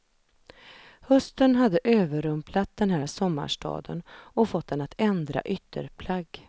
Hösten hade överrumplat den här sommarstaden och fått den att ändra ytterplagg.